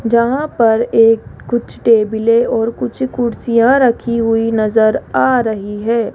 जहां पर ये कुछ टेबल और कुछ कुर्सियां रखी हुई नजर आ रही है।